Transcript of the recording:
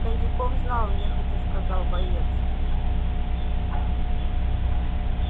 кондюков знал нехотя сказал боец